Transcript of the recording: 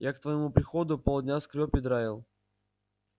я к твоему приходу полдня скрёб и драил